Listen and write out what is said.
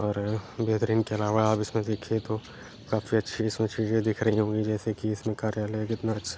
और बेहतरीन के अलावा आप इसमे देखीय तो काफी अच्छी इसमे चीज़ें दिख रही होंगी जैसे कि इसमे कार्यालय कितना अच्छा --